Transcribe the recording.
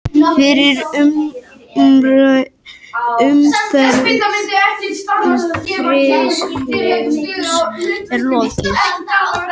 Fyrri umferð riðilsins er lokið